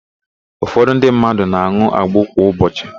Ụfọdụ ndị mmadụ na-an̄ụ agbo kwa ụbọchị.